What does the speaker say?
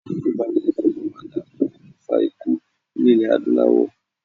Ibà yóò túnbọ̀ máa dákún okùnfà ikú ní ilè Adúláwọ̀.